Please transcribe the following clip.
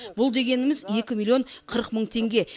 бұл дегеніміз екі миллион қырық мың теңге